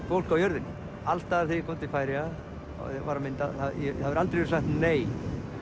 fólk á jörðinni alls staðar þegar ég kom til Færeyja og var að mynda það hefur aldrei verið sagt nei